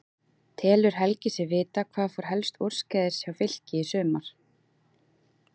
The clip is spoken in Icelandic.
Telur Helgi sig vita hvað fór helst úrskeiðis hjá Fylki í sumar?